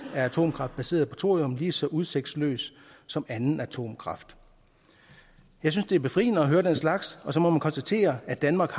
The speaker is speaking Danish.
er atomkraft baseret på thorium lige så udsigtsløst som anden atomkraft jeg synes det er befriende at høre den slags og så må man konstatere at danmark